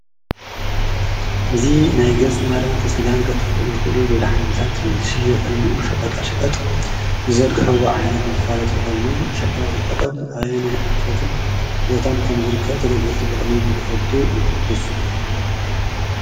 እዙ ናይ ገጽ መራንፊ ሥጋን ከጥፍእ ዝኽእሉ መድሓኒታት ዝሽውየጠሉ ሸቐጣ ሸቐጥ ዝዘርገሕዎ ዓይነት መፋለጢ ኾይኑ ሸቐጣ ሽቀጦም ኣባየናይ ኣንፈትን ቦታን ከም ዝርከብ ተገልገልቲ በቐሊሉ ንኽፈልጡ ይሕግዝ